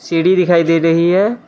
सीढ़ी दिखाई दे रही हैं।